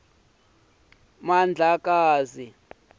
mandlakazi